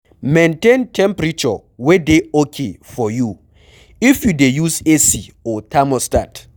Maintain temperature wey dey okay for you, if you dey use AC or thermostat